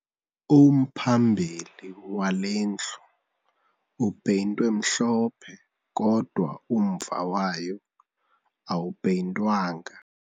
Umphambili wale ndlu upeyintwe mhlophe kodwa umva wayo awupeyintwanga